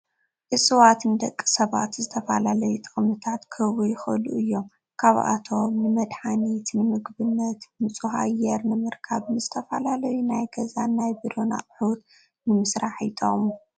እፅዋት ንደቂ ሰባት ዝተፈላለዩ ጠቅምታት ክህቡ ይክእሉ እዮም ካብ ኣቶም ንመድሓኒት፣ ንምግብነት፣ ንፁህ ኣየር ንምርካብ፣ ንዝተፈላለዩ ናይ ገዛን ናይ ቢሮ ኣቁን ንምስራሕ ይጠቅሙ።